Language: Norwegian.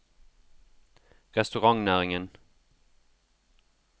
restaurantnæringen